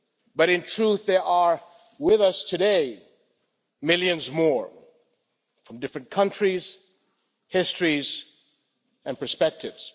But in truth, there are with us today millions more, from different countries, histories, and perspectives.